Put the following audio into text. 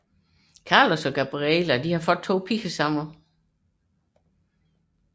Carlos og Gabriella har fået 2 piger sammen